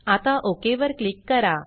आता ओक वर क्लिक करा